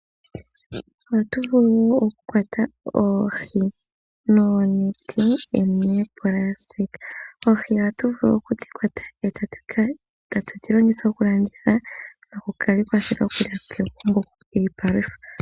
Ohatu vulu okukwata oohi noonete moonayilona. Ohatu vulu okudhi kwata, etatu dhilongitha okudhi landitha nokufala kegumbo dhika ninge iipalutha.